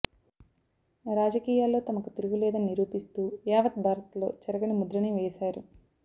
రాజకీయాల్లో తమకు తిరుగులేదని నిరూపిస్తూ యావత్ భారత్లో చెరగని ముద్రని వేశారు